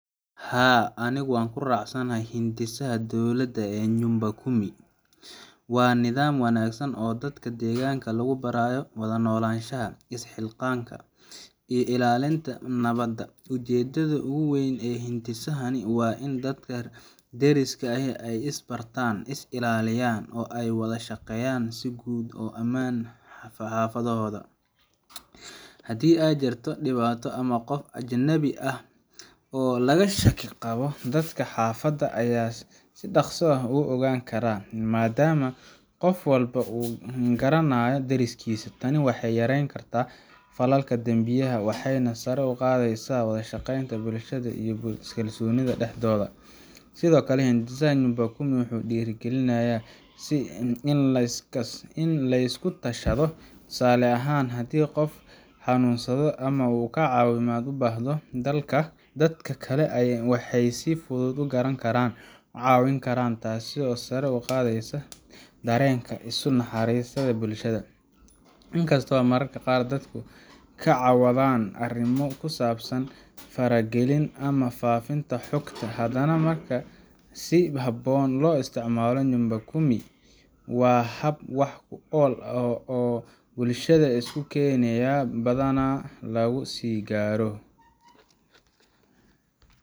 Haa, anigu waan ku raacsanahay hindisaha dowladda ee Nyumba Kumi. Waa nidaam wanaagsan oo dadka deegaanka lagu barayo wada noolaansho, isxilqaan, iyo ilaalinta nabadda. Ujeeddada ugu weyn ee hindisahani waa in dadka deriska ahi ay is bartaan, is ilaaliyaan, oo ay ka wada shaqeeyaan sugidda ammaanka xaafaddooda. Haddii ay jirto dhibaato ama qof ajnabi ah oo laga shaki qabo, dadka xaafadda ayaa si dhakhso ah u ogaan kara, maadaama qof walba uu garanayo deriskiisa. Tani waxay yareyn kartaa falalka dambiyada, waxayna sare u qaadaysaa wada shaqeynta bulshada iyo kalsoonida dhexdooda. Sidoo kale, hindisaha Nyumba Kumi wuxuu dhiirrigeliyaa in la isku tashado. Tusaale ahaan, haddii qof xanuunsado ama uu caawimaad u baahdo, dadka kale waxay si fudud u garan karaan, u caawin karaan, taasoo sare u qaadaysa dareenka isu naxariista ee bulshada. Inkastoo mararka qaar dadku ka cawdaan arrimo ku saabsan faragelin ama faafinta xogta, haddana marka si habboon loo isticmaalo, Nyumba Kumi waa hab wax ku ool ah oo bulshada isku keenaya, lagu sugi garo